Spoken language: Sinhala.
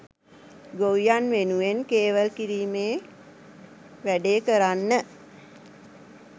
ගොවියන් වෙනුවෙන් කේවල් කිරීමේ වැඩේ කරන්න